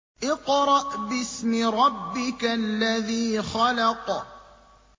اقْرَأْ بِاسْمِ رَبِّكَ الَّذِي خَلَقَ